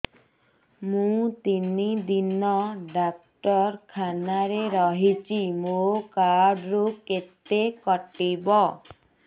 ମୁଁ ତିନି ଦିନ ଡାକ୍ତର ଖାନାରେ ରହିଛି ମୋର କାର୍ଡ ରୁ କେତେ କଟିବ